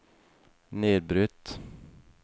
nedbrutt